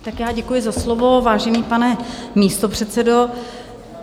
Tak já děkuji za slovo, vážený pane místopředsedo.